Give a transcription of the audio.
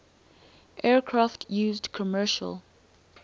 aircraft used commercial